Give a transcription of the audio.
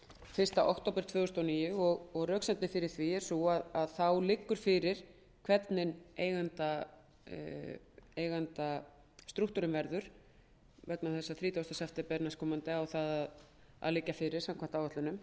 fyrsta október tvö þúsund og níu röksemdin fyrir því er sú að þá liggur fyrir hvernig eigendastrúktúrinn verður þrítugasta september næstkomandi á að það að liggja fyrir samkvæmt áætlunum